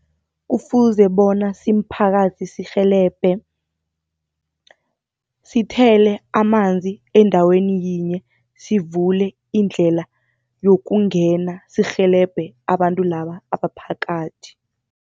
Kufuze bona simphakathi sirhelebhe, sithele amanzi endaweni yinye, sivule indlela yokungena sirhelebhe abantu laba abaphakathi.